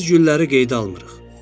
Biz gülləri qeydə almırıq.